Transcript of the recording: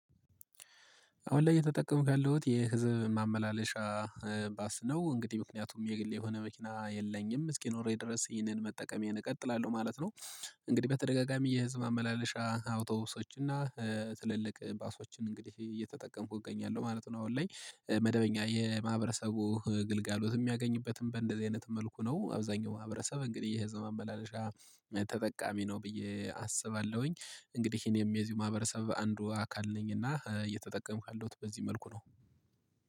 አሁን ላይ እየተጠቀምሁ ያለሁት የህዝብ ማመላለሻ ባስ ነው እንግዲህ ምክንያቱም የግል የሆነ መኪና የለኝም እስኪኖረኝ ድረስ ይህንን መጠቀሜን እቀጥላለሁ ማለት ነው። እንግዲህ በተደጋጋሚ የህዝብ ማመላለሻ አውቶብሶችና ትልልቅ ባሶችን እንግዲህ እየተጠቀምኩ እገኛለሁ ማለት ነው። አሁን ላይ መደበኛ የማህበረሰቡ ግልጋሎት የሚያገኝበትም በእንደዚህ አይነት መልኩ ነው አብዛኛው ማህበረሰብ እንግዲህ የህዝብ ማመላለሻ ተጠቃሚ ነው ብዬ አስባለሁኝ። እንግዲህ ይሄንም የዚሁ ማህበረሰብ አንዱ አካል ነኝ እና እየተጠቀምኩ ያለሁት በዚህ መልኩ ነው